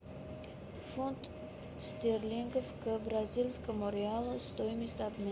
фунт стерлингов к бразильскому реалу стоимость обмена